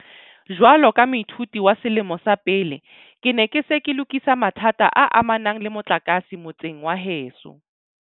Jwalo ka moithuti wa selemo sa pele, ke ne ke se ke lokisa mathata a amanang le motlakase motseng wa heso.